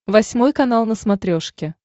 восьмой канал на смотрешке